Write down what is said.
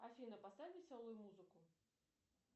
афина поставь веселую музыку